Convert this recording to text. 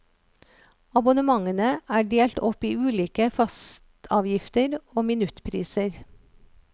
Abonnementene er delt opp i ulike fastavgifter og minuttpriser.